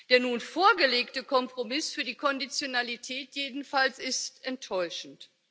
Der nun vorgelegte Kompromiss für die Konditionalität jedenfalls ist enttäuschend.